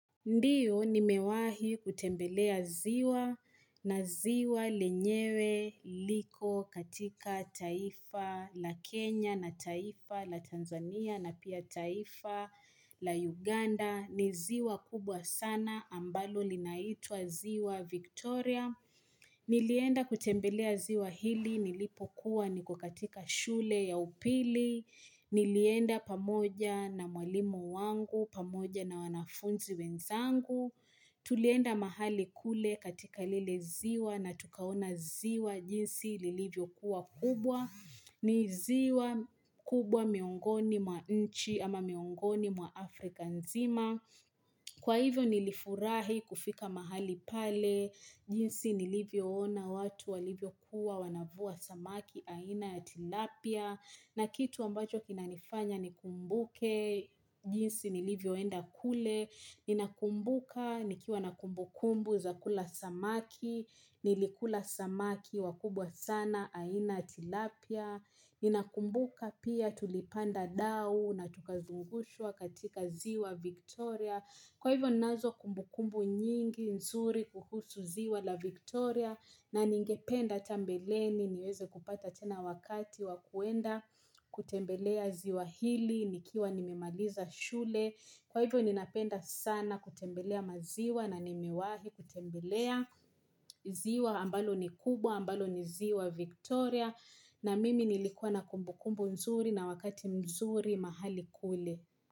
Ndiyo nimewahi kutembelea ziwa na ziwa lenyewe liko katika taifa la Kenya na taifa la Tanzania na pia taifa la Uganda ni ziwa kubwa sana ambalo linaitwa ziwa Victoria. Nilienda kutembelea ziwa hili nilipokuwa ni ko katika shule ya upili. Nilienda pamoja na mwalimu wangu, pamoja na wanafunzi wenzangu. Tulienda mahali kule katika lile ziwa na tukaona ziwa jinsi lilivyo kuwa kubwa. Niziwa kubwa miongoni mwa nchi ama miongoni mwa Afrika nzima Kwa hivyo nilifurahi kufika mahali pale jinsi nilivyo ona watu walivyo kuwa wanavua samaki aina ya tilapia na kitu ambacho kinanifanya ni kumbuke jinsi nilivyo enda kule Ninakumbuka nikiwa nakumbukumbu za kula samaki Nilikula samaki wakubwa sana aina tilapia Ninakumbuka pia tulipanda dao na tukazungushua katika ziwa Victoria Kwa hivyo nazo kumbukumbu nyingi nzuri kuhusu ziwa la Victoria na ningependa hata mbele ni niweze kupata tena wakati wakuenda kutembelea ziwa hili nikiwa nimemaliza shule Kwa hivyo ninapenda sana kutembelea maziwa na nimewahi kutembelea ziwa ambalo ni kubwa, ambalo ni ziwa Victoria na mimi nilikuwa na kumbu kumbu nzuri na wakati mzuri mahali kule.